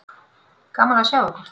Gaman að sjá ykkur.